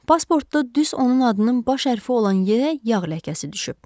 Pasportda düz onun adının baş hərfi olan yerə yağ ləkəsi düşüb.